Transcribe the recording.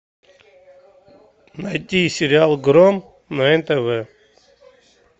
найти сериал гром на нтв